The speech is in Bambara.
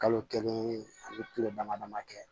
Kalo kelen ani dama dama kɛ